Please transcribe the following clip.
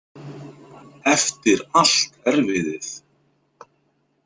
Eftir allt erfiðið!